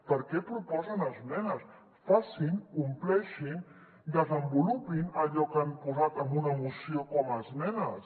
per què proposen esmenes facin compleixin desenvolupin allò que han posat en una mo·ció com a esmenes